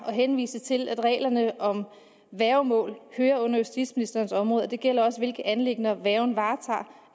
at henvise til at reglerne om værgemål hører ind under justitsministerens område og det gælder også hvilke anliggender værgen